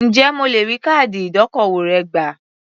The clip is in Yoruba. Ǹjẹ́ mo lè rí káàdì ìdókòwò rẹ gbà?